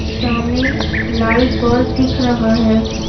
सामने light bulb दिख रहा है।